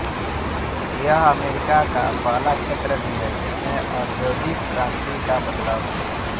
यह अमेरिका का पहला क्षेत्र भी था जिसमें औद्योगिक क्रांति का बदलाव हुआ